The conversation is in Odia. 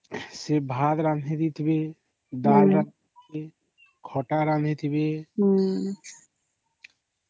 ଅମ୍